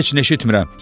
Heç nə eşitmirəm.